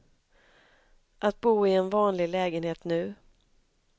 Att bo i en vanlig lägenhet nu.